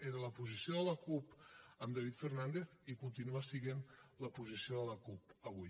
era la posició de la cup amb david fernàndez i continua sent la posició de la cup avui